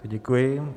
Děkuji.